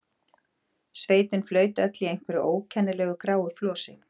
Sveitin flaut öll í einhverju ókennilegu gráu flosi.